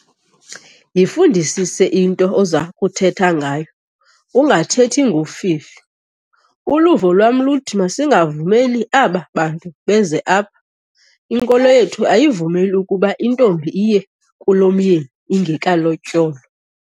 Yifundisise into oza kuthetha ngayo ungathethi ngofifi. uluvo lwam luthi masingavumeli aba bantu beze apha, inkolo yethu ayivumeli ukuba intombi iye kulomyeni ingekalotyolwa